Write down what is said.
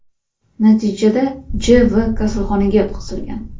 Natijada J.V kasalxonaga yotqizilgan.